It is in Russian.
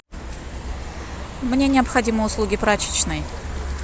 мне необходимы услуги прачечной